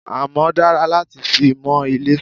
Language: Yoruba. Amọ́ dára láti fi mọ ilé.